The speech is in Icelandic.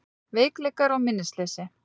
Veikleikar og minnisleysi